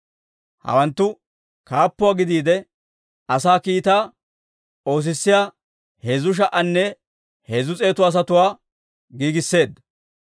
Hawanttu kaappuwaa gidiide asaa kiitaa oosissiyaa heezzu sha"anne heezzu s'eetu asatuwaa giigiseedda.